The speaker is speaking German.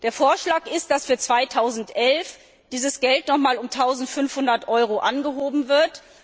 Der Vorschlag ist, dass für 2011 dieses Geld noch einmal um 1500 Euro angehoben wird.